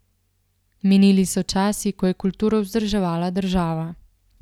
Minili so časi, ko je kulturo vzdrževala država.